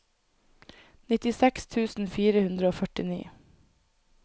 nittiseks tusen fire hundre og førtini